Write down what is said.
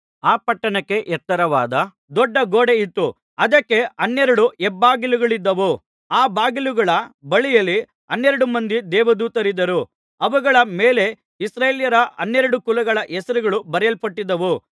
ಆ ಪಟ್ಟಣಕ್ಕೆ ಎತ್ತರವಾದ ದೊಡ್ಡ ಗೋಡೆ ಇತ್ತು ಅದಕ್ಕೆ ಹನ್ನೆರಡು ಹೆಬ್ಬಾಗಿಲುಗಳಿದ್ದವು ಆ ಬಾಗಿಲುಗಳ ಬಳಿಯಲ್ಲಿ ಹನ್ನೆರಡು ಮಂದಿ ದೇವದೂತರಿದ್ದರು ಅವುಗಳ ಮೇಲೆ ಇಸ್ರಾಯೇಲ್ಯರ ಹನ್ನೆರಡು ಕುಲಗಳ ಹೆಸರುಗಳು ಬರೆಯಲ್ಪಟ್ಟಿದ್ದವು